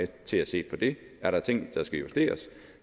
til at se på det er der ting der skal justeres